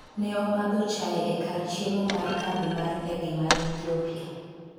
ne omadho chae e kar chiemo mar kambi mar ndege mar Ethiopia